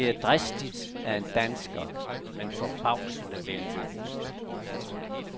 Det er dristigt af en dansker, men forbavsende vellykket.